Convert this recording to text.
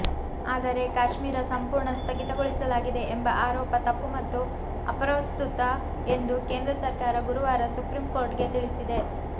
ಆದರೆ ಕಾಶ್ಮೀರ ಸಂಪೂರ್ಣ ಸ್ಥಗಿತಗೊಳಿಸಲಾಗಿದೆ ಎಂಬ ಆರೋಪ ತಪ್ಪು ಮತ್ತು ಅಪ್ರಸ್ತುತ ಎಂದು ಕೇಂದ್ರ ಸರ್ಕಾರ ಗುರುವಾರ ಸುಪ್ರೀಂಕೋರ್ಟ್ಗೆ ತಿಳಿಸಿದೆ